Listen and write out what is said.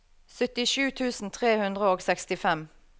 syttisju tusen tre hundre og sekstifem